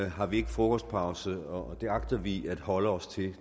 har vi ikke frokostpause og den plan agter vi at holde os til